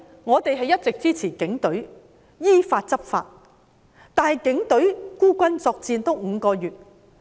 我們是一直支持警隊執法的，但警隊已經孤軍作戰了5個月。